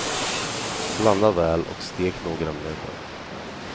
Blanda väl och stek några minuter.